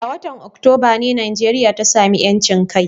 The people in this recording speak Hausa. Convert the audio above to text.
A watan Oktoba ne Najeriya ta sami ƴancin kai.